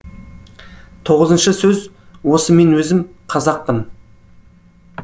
тоғызыншы сөз осы мен өзім қазақпын